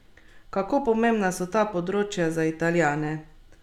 Kako pomembna so ta področja za Italijane?